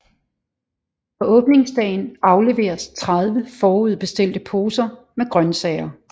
På åbningsdagen afleveres 30 forudbestilte poser med grøntsager